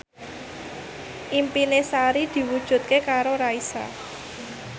impine Sari diwujudke karo Raisa